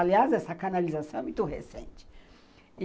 Aliás, essa canalização é muito recente.